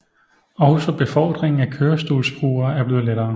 Også befordringen af kørestolsbrugere er blevet lettere